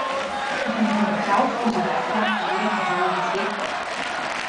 Ko sem privihral skozi vrata, je ura kazala deset do.